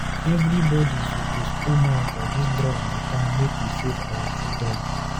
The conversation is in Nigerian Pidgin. Everybodi suppose put mouth for dis drug mata make we save our children.